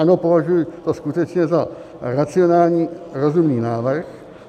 Ano, považuji to skutečně za racionální, rozumný návrh.